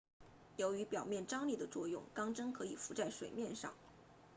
由于表面张力的作用钢针可以浮在水面上